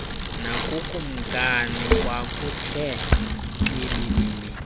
nakukumkani kwakuthe xibilili